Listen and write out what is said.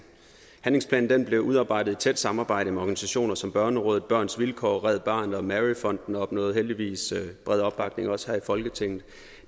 handlingsplanen blev udarbejdet i tæt samarbejde med organisationer som børnerådet børns vilkår red barnet og mary fonden og opnåede heldigvis bred opbakning også her i folketinget